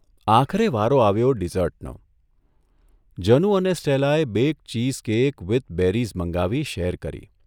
આખરે વારો આવ્યો ડિઝર્ટનોઃ જનુ અને સ્ટેલાએ બે ચીઝ કેક વીથ બેરીઝ મંગાવી શેર કરી.